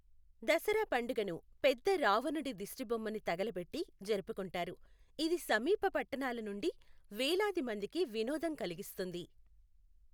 దసరా పండుగను పెద్ద రావణుడి దిష్టిబొమ్మ ని తగలబెట్టి జరుపుకుంటారు, ఇది సమీప పట్టణాల నుండి వేలాది మందికి వినోదం కలిగిస్తుంది.